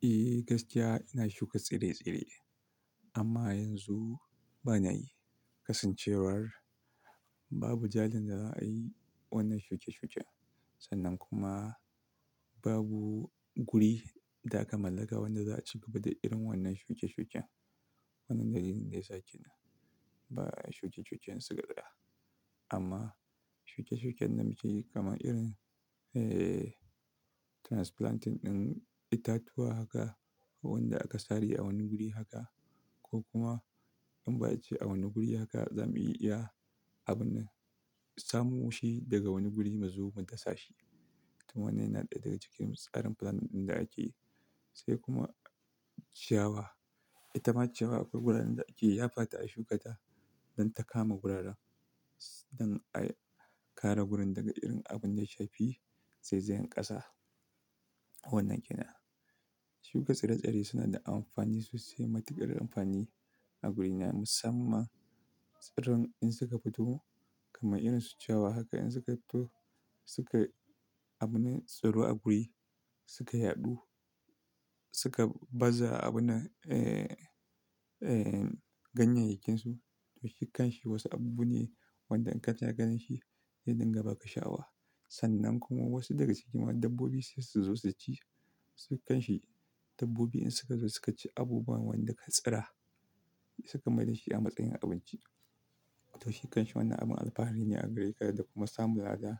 Eh, gaskiya ina shuka tsire-tsire amma yanzu ba na yi kasancewar babu jajen da za a yi wannan shuke-shuke. Sannan kuma babu guri da aka mallaka wanda za a ci gaba da irin wannan shuke-shuken. Wannan dalilin da yasa kenan. Ba shuke-shuken sigari ba amma shuke-shuken namiji kamar irin, eh, transplanting ɗin itatuwa haka ko wanda aka sare a wani guri haka ko kuma an ba a cewa a wani guri haka za mu iya abun nan samu shi daga wani guri muzo mu dasha shi. To wannan yana ɗaya daga cikin tsarin plan ɗin da ake yi sai kuma ciyawa. Ita ma ciyawa akwai guraran da ake Ya fata a shuka ta don ta kama guraran don a kare gurin daga irin abin da ya shafi zazzagen ƙasa. Wannan kenan. Shuka tsire-tsire suna da amfani sosai, matuƙar amfani a guri na musamman. Tsiron in suka fito kamar irin su ciyawa haka in suka fito suka abune tsaro a guri, suka yaɗu, suka baza abun nan, eh, eh, ganyayyakin su. To shikkanshi wasu abu ne wanda in ka chika ganin shi zai dinga ba ka sha'awa. Sannan kuma wasu daga cikin dabbobi sai su zo su ci. Wasu kanshi dabbobi in suka zo su ka ci abubuwan wanda ka tsira, suka mai da shi a matsayin abinci. To shikkanshi wannan abun alfahari ne a gare ka da kuma samun lada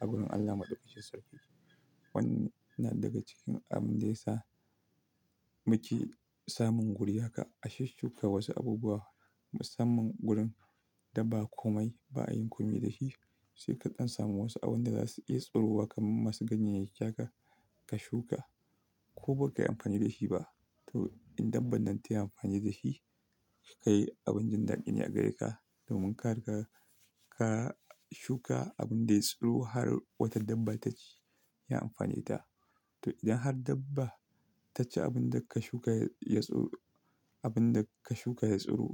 a wurin Allah Madaukakin Sarki. Wannan daga cikin abin da ya sa muke samun guri haka, a shushuka wasu abubuwa musamman gurin da ba komai, ba a yi komai da shi sai kaɗan samu wasu abin da za su iya tsirowa kamar masu ganyayyaki haka ka shuka ko ba ka yi amfani da shi ba. To in dabba nan ta yi amfani da shi, to kai abin jin dadi ne a gare ka. Domin ka riga, ka shuka abin da ya tsiro har wata dabba ta ci, ya amfaneta. To idan har dabba ta ci abun da ka shuka ya tsiro, abun da ka shuka ya tsiro,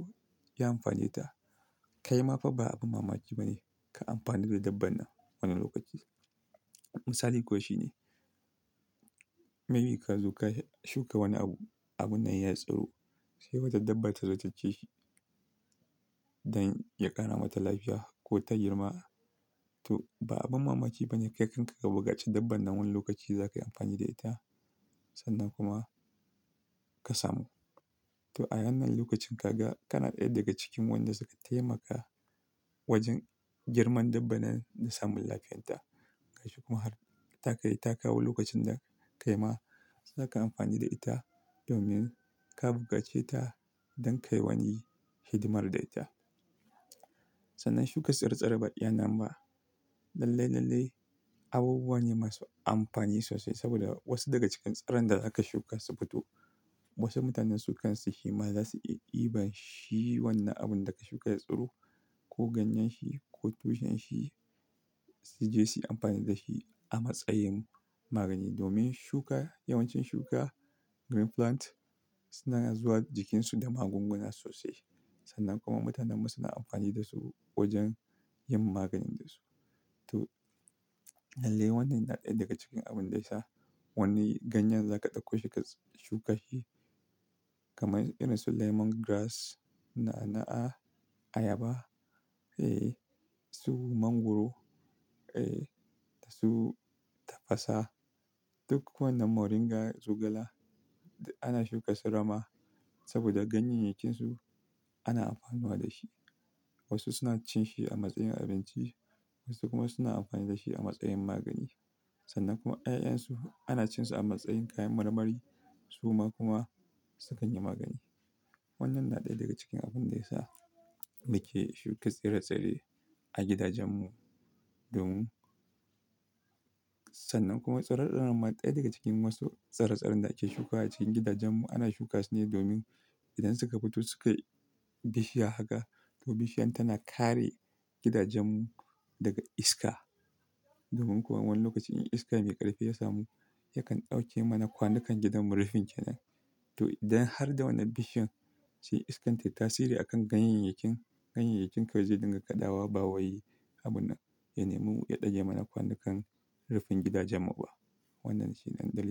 ya amfaneta, kai ma fa ba abin mamaki ba ne ka amfanu da dabban nan wani lokaci. Misali kuwa shi ne, maybe ka zo ka shuka wani abu, abun nan ya tsiro sai wata dabba ta zo ta ci shi don ya ƙara mata lafiya ko ta girma. To ba abin mamaki ba ne, kai kam ka buƙa ce dabban nan wani lokaci za ka yi amfani da ita sannan kuma ka samu. To a wannan lokacin ka ga ka na ɗaya daga cikin wanda suka taimaka wajen girman dabban nan da samun lafiyarta. Kai shi kuma har ta kai, ta kawo lokacin da kai ma zaka amfani da ita domin ka buƙa ce ta don ka yi wani hidimar da ita. Sannan shuka tsire-tsire ba iyaa nan ba lalle, lalle abubuwa ne masu amfani sosai saboda wasu daga cikin tsiron da za ka shuka su fito. Wasu mutanen su kansu shema za su iya iba shi wannan abun da ka shuka ya tsiro ko ganyen shi ko tushen shi su je su yi amfani da shi a matsayin magani. Domin shuka, yawancin shuka, green plant suna zuwa jikinsu da magunguna sosai. Sannan kuma mutanan mu suna amfani da su wajen yin maganin da su. To, lalle wannan yana ɗaya daga cikin abin da ya sa wani ganyen za ka ɗauko shi ka shuka shi kamar irin su lemongrass, na'a-na'a, ayaba, eh, su mangwaro, eh, su tafasa, duk wannan moringa, zogala ana shuka su rama saboda ganyayyakin su ana amfanowa da shi. Wasu suna cin shi a matsayin abinci, wasu kuma suna amfani da shi a matsayin magani. Sannan kuma 'ya'yan su ana cin su a matsayin kayan marmari su ma kuma su kanyi magani. Wannan na ɗaya daga cikin abin da ya sa muke shuka tsire-tsire a gidajen mu domin Sannan kuma tsirona ma ɗaya daga cikin wasu tsire-tsiren da ake shuka a cikin gidajen mu. Ana shuka su ne domin idan suka fito su kai bishiya haka to bishiyar tana kare gidajen mu daga iska. Domin kuwa wani lokaci in iska mai ƙarfi ya samu, yakan ɗauke mana kwanukan gidan mu rufin ke nan. To idan har da wannan bishiyar sai iskan tayi tasiri a kan ganyayyakin, ganyayyakin kawai zai dinga kaɗawa, bawayi, abun nan ya nemi iya ɗage mana kwanukan rufin gidajen mu ba. Wannan shi ne dalilin.